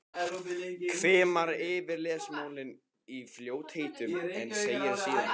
Hvimar yfir lesmálið í fljótheitum en segir síðan